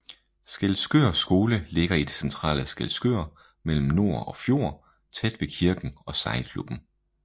Skælskør Skole ligger i det centrale Skælskør mellem nor og fjord tæt ved kirken og sejlklubben